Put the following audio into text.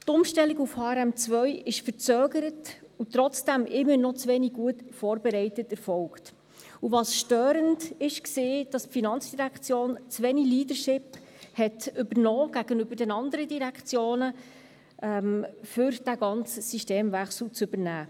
Die Umstellung auf HRM2 ist verzögert und trotzdem immer noch zu wenig gut vorbereitet erfolgt, und störend war einerseits, dass die FIN zu wenig Leadership gegenüber den anderen Direktionen übernommen hat, um diesen ganzen Systemwechsel zu übernehmen.